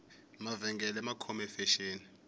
mavengele ma khome fexeni